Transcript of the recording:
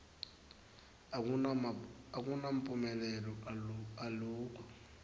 akunamphumelelo alukho